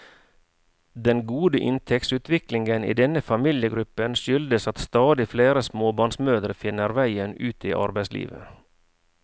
Den gode inntektsutviklingen i denne familiegruppen skyldes at stadig flere småbarnsmødre finner veien ut i arbeidslivet.